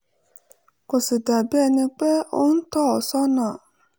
kò sì dà bí ẹni pé ó ń tọ́ ọ sọ́nà